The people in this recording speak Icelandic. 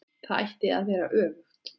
Þetta ætti að vera öfugt.